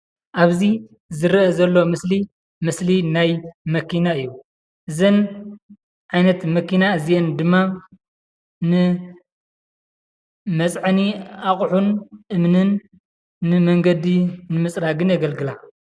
ኣብ ዝረእ ዘሎ ምስሊምስሊናይ መክናእዩ፡፡ አዝነ ዓይነትመኪና ዲማ ኒመፀዒ ኣቁሑኒ አሚኒኒ ኒመኒገዲ ምፅራግኒ ይግልግላ፡፡